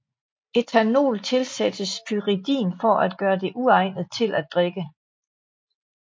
Ethanol tilsættes pyridin for at gøre det uegnet til at drikke